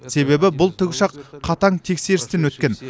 себебі бұл тікұшақ қатаң тексерістен өткен